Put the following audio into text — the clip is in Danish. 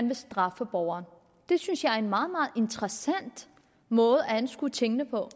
vil straffe borgerne det synes jeg er en meget meget interessant måde at anskue tingene på